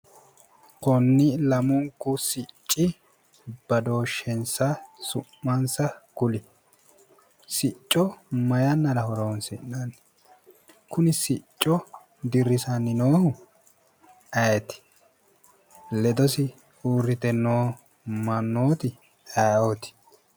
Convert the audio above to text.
Konni lamunku sicci badooshshensa su'mansa kuli. Sicco mayi yannara horoonsi'nanni? Kuni sicco dirisanni noohu ayeeti? Ledosi uurrite noo mannooti ayeeoti?